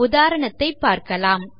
உதாரணத்தை பார்க்கலாம்